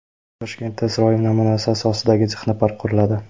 Toshkentda Isroil namunasi asosidagi texnopark quriladi.